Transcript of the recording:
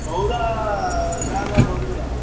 ସଉଦା ଯାହା ନବ ବୁଝିଲ ନାଁ।